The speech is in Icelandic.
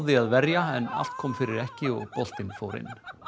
að verja en allt kom fyrir ekki og boltinn fór inn